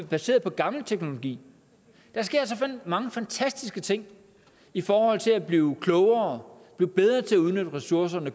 baseret på gammel teknologi der sker så mange fantastiske ting i forhold til at blive klogere blive bedre til at udnytte ressourcerne